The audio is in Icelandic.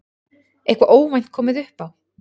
Eitthvað óvænt komið upp á?